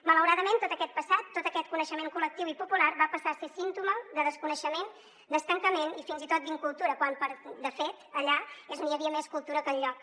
malauradament tot aquest passat tot aquest coneixement col·lectiu i popular va passar a ser símptoma de des·coneixement d’estancament i fins i tot d’incultura quan de fet allà és on hi havia més cultura que enlloc